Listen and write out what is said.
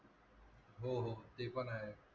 हो हो ते पण आहे.